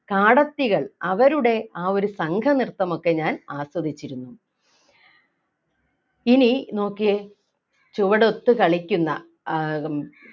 കാടത്തികൾ അവരുടെ ആ ഒരു സംഘനൃത്തം ഒക്കെ ഞാൻ ആസ്വദിച്ചിരുന്നു ഇനി നോക്കിയേ ചുവടൊത്തു കളിക്കുന്ന ഏർ